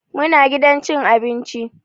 Muna gidan cin abinci.